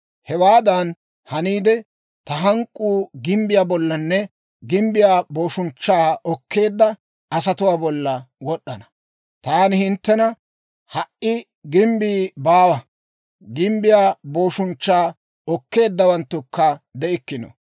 Hewaadan haniide, ta hank'k'uu gimbbiyaa bollanne gimbbiyaa booshunchchaa okkeedda asatuwaa bolla wod'd'ana. Taani hinttena, ‹Ha"i gimbbii baawa; gimbbiyaa booshunchchaa okkeeddawanttukka de'ikkino.